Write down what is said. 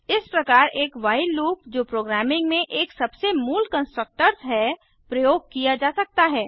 इस प्रकार एक व्हाइल लूप जो प्रोग्रामिंग में एक सबसे मूल कंस्ट्रक्ट्स है प्रयोग किया जा सकता है